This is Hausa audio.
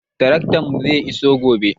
Taraktanmu zai iso gobe.